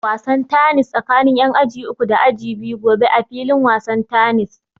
Za a buga wasan tanis tsakin ƴan aji uku da aji biyu gobe a filin wasan tanis